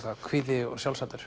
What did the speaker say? hvíti og